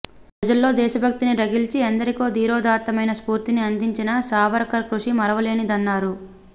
ప్రజల్లో దేశభక్తిని రగిల్చి ఎందరికో ధీరోదాత్తమైన స్ఫూర్తిని అందించిన సావర్కర్ కృషి మరువలేనిదన్నారు